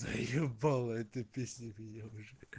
заебала эта песня меня уже